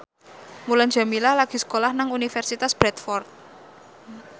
Mulan Jameela lagi sekolah nang Universitas Bradford